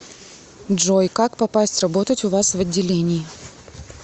джой как попасть работать у вас в отделении